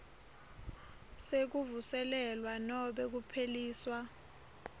sekuvuselelwa nobe kupheliswa